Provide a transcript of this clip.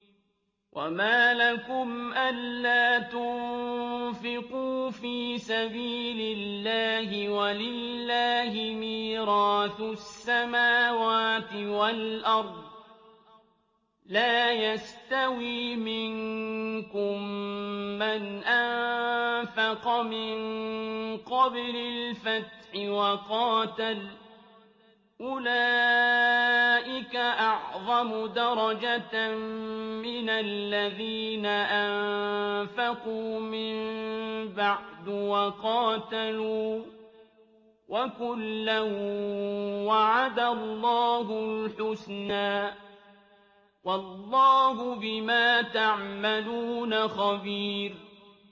وَمَا لَكُمْ أَلَّا تُنفِقُوا فِي سَبِيلِ اللَّهِ وَلِلَّهِ مِيرَاثُ السَّمَاوَاتِ وَالْأَرْضِ ۚ لَا يَسْتَوِي مِنكُم مَّنْ أَنفَقَ مِن قَبْلِ الْفَتْحِ وَقَاتَلَ ۚ أُولَٰئِكَ أَعْظَمُ دَرَجَةً مِّنَ الَّذِينَ أَنفَقُوا مِن بَعْدُ وَقَاتَلُوا ۚ وَكُلًّا وَعَدَ اللَّهُ الْحُسْنَىٰ ۚ وَاللَّهُ بِمَا تَعْمَلُونَ خَبِيرٌ